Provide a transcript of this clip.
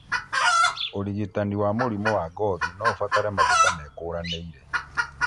ũrigitani wa mĩrimũ ya ngothi noũbatare kwĩhaka maguta mekũranĩire